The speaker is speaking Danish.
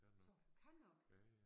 Så hun kan nok